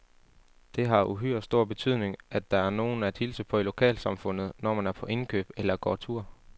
Det har uhyre stor betydning, at der er nogen at hilse på i lokalsamfundet, når man er på indkøb eller går tur.